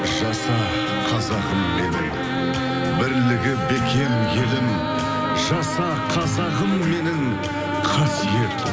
жаса қазағым менің бірлігі бекем елім жаса қазағым менің қасиет